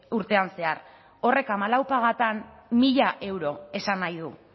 urtean zehar horrek hamalau pagatan mila euro esan nahi du